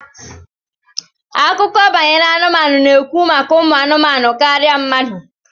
Akụkọ banyere anụmanụ na-ekwu maka umu anumanu karịa mmadụ